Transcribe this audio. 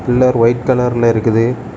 உள்ள வைட் கலர்ல இருக்குது.